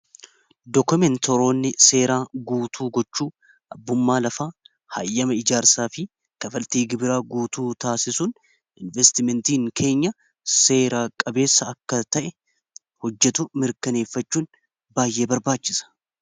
Dokumentaroonni seeraa guutuu gochuu abbummaa lafa haayyama ijaarsaa fi kafaltii gibiraa guutuu taasisuun investimentiin keenya seeraa qabeessa akka ta'e hojjetu mirkaneeffachuun baay'ee barbaachisa.